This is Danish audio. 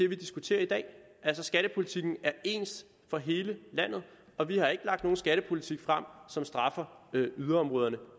vi diskuterer i dag altså skattepolitikken er ens for hele landet og vi har ikke lagt nogen skattepolitik frem som straffer yderområderne